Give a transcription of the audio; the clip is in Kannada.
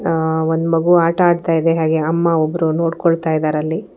ಆ ಒಂದ್ ಮಗು ಆಟ ಆಡ್ತಾ ಇದೆ ಹಾಗೆ ಅಮ್ಮ ಒಬ್ರು ನೋಡ್ಕೊಳ್ತಾ ಇದ್ದಾರಲ್ಲಿ.